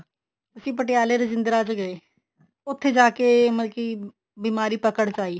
ਅਸੀਂ ਪਟਿਆਲੇ ਰਜਿੰਦਰਾ ਚ ਗਏ ਉੱਥੇ ਜਾ ਕੇ ਮਤਲਬ ਬਿਮਾਰੀ ਪਕੜ ਚਆਈ